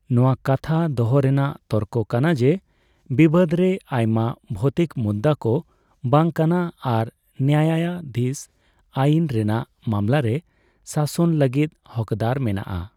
ᱱᱚᱣᱟ ᱠᱟᱛᱷᱟ ᱫᱚᱦᱚ ᱨᱮᱱᱟᱜ ᱛᱚᱨᱠᱚ ᱠᱟᱱᱟ ᱡᱮ ᱵᱤᱵᱟᱹᱫ ᱨᱮ ᱟᱭᱢᱟ ᱵᱷᱚᱣᱛᱤᱠ ᱢᱩᱫᱫᱟᱹ ᱫᱚ ᱵᱟᱝ ᱠᱟᱱᱟ ᱟᱨ ᱱᱟᱭᱟᱭᱟᱫᱷᱤᱥ ᱟᱹᱭᱤᱱ ᱨᱮᱱᱟᱜ ᱢᱟᱢᱞᱟ ᱨᱮ ᱥᱟᱥᱚᱱ ᱞᱟᱹᱜᱤᱫ ᱦᱚᱠᱫᱟᱨ ᱢᱮᱱᱟᱜᱼᱟ ᱾